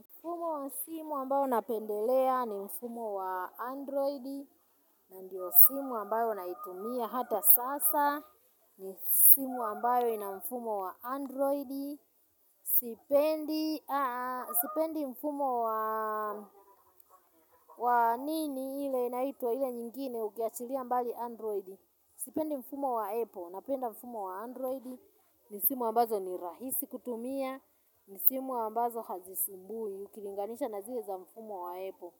Mfumo wa simu ambao napendelea ni mfumo wa Android. Na ndio simu ambayo naitumia hata sasa. Ni simu ambayo ina mfumo wa Android. Sipendi mfumo wa nini ile inaitwa ile nyingine ukiachilia mbali Android. Sipendi mfumo wa Apple, napenda mfumo wa Android. Ni simu ambazo ni rahisi kutumia. Ni simu ambazo hazisumbui. Ukilinganisha na zile za mfumo wa aple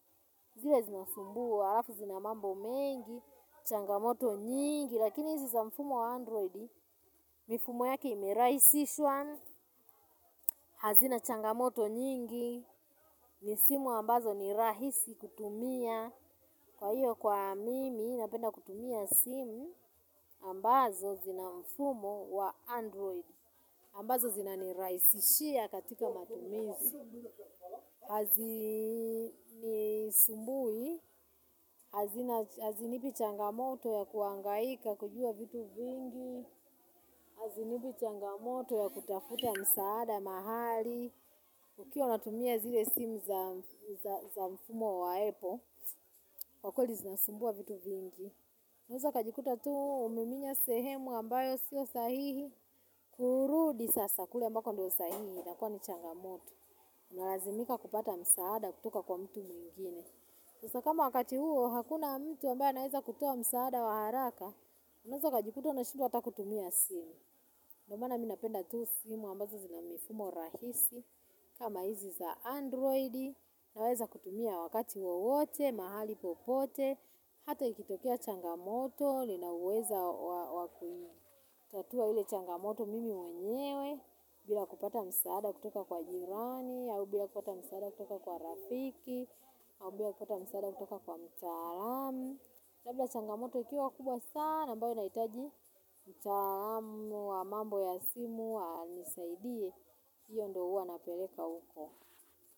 zile zinasumbua alafu zina mambo mengi. Changamoto nyingi lakini hizi za mfumo wa android mifumo yake imeraisishwa. Hazina changamoto nyingi. Ni simu ambazo ni rahisi kutumia. Kwa hiyo kwa mimi napenda kutumia simu ambazo zina mfumo wa android ambazo zinaniraisishia katika matumizi. Hazinisumbui. Hazinipi changamoto ya kuangaika kujua vitu vingi. Hazinipi changamoto ya kutafuta msaada mahali. Ukiwa unatumia zile simu za mfumo wa apple kwa kwelii zinasumbua vitu vingi unaeza ukajikuta tu umiminya sehemu ambayo sio sahihi. Kurudi sasa kule ambako ndio sahihi inakuwa ni changamoto unalazimika kupata msaada kutoka kwa mtu mwingine. Sasa kama wakati huo, hakuna mtu ambaye anaweza kutoa msaada wa haraka, unaweza ukajikuta unashindwa hata kutumia simu. Ndiomaana mimi napenda tu simu ambazo zina mifumo rahisi, kama hizi za android, naweza kutumia wakati wote, mahali popote, hata ikitokea changamoto, linaweza wakui. Tatua hile changamoto mimi mwenyewe, bila kupata msaada kutoka kwa jirani, au bila kupata msaada kutoka kwa rafiki au bila kupata msaada kutoka kwa mtaalamu labda changamoto ikiwa kubwa sana ambayo inaitaji mtaalamu wa mambo ya simu anisaidie hiyo ndo huwa napeleka huko.